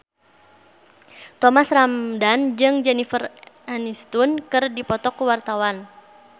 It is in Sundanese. Thomas Ramdhan jeung Jennifer Aniston keur dipoto ku wartawan